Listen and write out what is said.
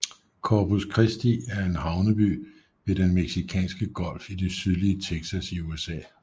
Corpus Christi er en havneby ved Den Mexicanske Golf i det sydlige Texas i USA